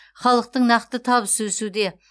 халықтың нақты табысы өсуде